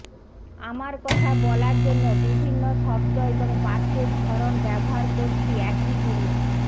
আমরা কথা বলার জন্য বিভিন্ন শব্দ এবং বাক্যের ধরন ব্যবহার করছি একই জিনিস